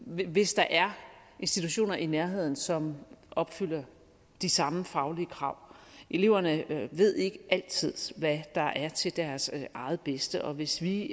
væk hvis der er institutioner i nærheden som opfylder de samme faglige krav eleverne ved ikke altid hvad der er til deres eget bedste og hvis vi